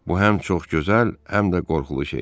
Bu həm çox gözəl, həm də qorxulu şeydir.